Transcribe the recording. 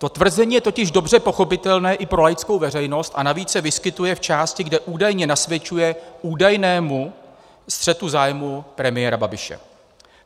To tvrzení je totiž dobře pochopitelné i pro laickou veřejnost a navíc se vyskytuje v části, kde údajně nasvědčuje údajnému střetu zájmů premiéra Babiše.